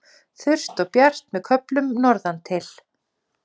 Þurrt og bjart með köflum norðantil